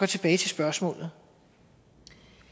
tilbage til spørgsmålet